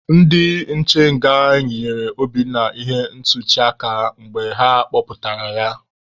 Ndị nche nga yinyere Obinna ihe ntuchi aka mgbe ha kpọpụtara ya.